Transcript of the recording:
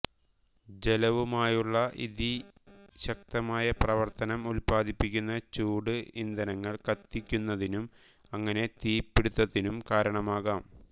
ജലവുമായുള്ള ഇതി ശക്തമായ പ്രവർത്തനം ഉല്പാദിപ്പിക്കുന്ന ചൂട് ഇന്ധനങ്ങൾ കത്തുന്നതിനും അങ്ങനെ തീപ്പിടുത്തത്തിനും കാരണമാകാം